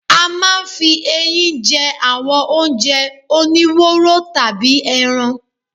A máa ń fi ẹyin jẹ́ àwọn oúnjẹ oníwóró tàbí ẹran.